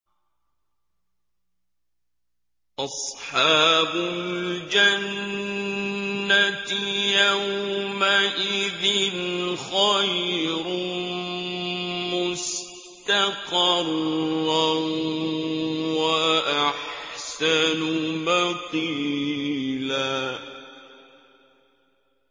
أَصْحَابُ الْجَنَّةِ يَوْمَئِذٍ خَيْرٌ مُّسْتَقَرًّا وَأَحْسَنُ مَقِيلًا